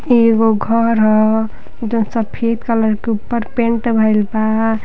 इ एगो घर ह जोन सफेद कलर के ऊपर पेंट भइल बा।